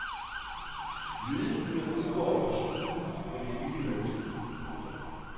Lydene udgår fra struben på det lille menneske. punktum